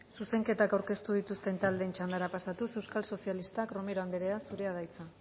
zuzenketak aurkeztu dituzten taldeen txandara pasatuz euskal sozialistak romero anderea zurea da hitza